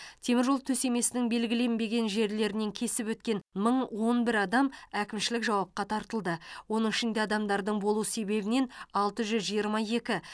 теміржол төсемесінің белгіленбеген жерлерінен кесіп өткен мың он бір адам әкімшілік жауапқа тартылды оның ішінде адамдардың болу себебінен алты жүз жиырма екі